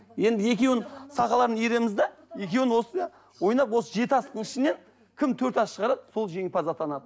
енді екеуін сақаларын иіреміз де екеуін осы ойнап жеті асықтың ішінен кім төрт асық шығарады сол жеңімпаз атанады